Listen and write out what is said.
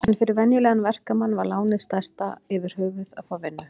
En fyrir venjulegan verkamann var lánið stærsta yfirhöfuð að fá vinnu.